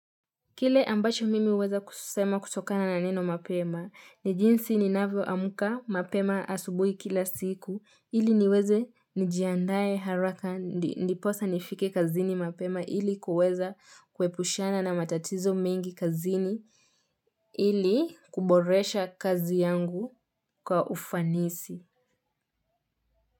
Kile ambacho mimi uweza kusema kutokana na neno mapema ni jinsi ninavyo amka mapema asubuhi kila siku ili niweze nijiandae haraka ndiposa nifike kazini mapema ili kuweza kuepushana na matatizo mingi kazini ili kuboresha kazi yangu kwa ufanisi.